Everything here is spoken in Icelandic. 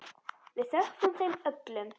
Við þökkum þeim öllum.